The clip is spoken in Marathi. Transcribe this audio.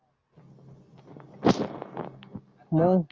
मग?